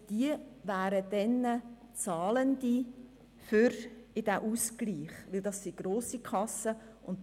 Das wären zahlende Kassen, dabei handelt es sich nämlich um grosse Kassen.